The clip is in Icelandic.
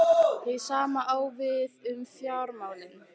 Hið sama á við um fjármálin.